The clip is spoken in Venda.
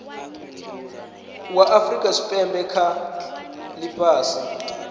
zwa afurika tshipembe kha ifhasi